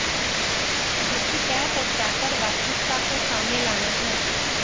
जिसकी तह तक जाकर वास्तविकता को सामने लाना है